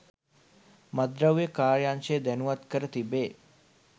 මත්ද්‍රව්‍ය කාර්යාංශය දැනුවත් කර තිබේ